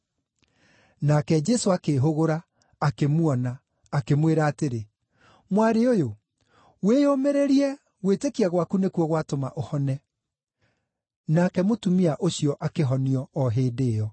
Nake Jesũ akĩĩhũgũra, akĩmuona, akĩmwĩra atĩrĩ, “Mwarĩ ũyũ, wĩyũmĩrĩrie gwĩtĩkia gwaku nĩkuo gwatũma ũhone.” Nake mũtumia ũcio akĩhonio o hĩndĩ ĩyo.